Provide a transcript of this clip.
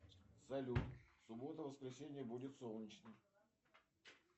салют в субботу воскресенье будет солнечно